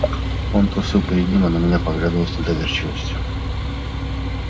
он трусил перед ним а на меня поглядывал с недоверчивостию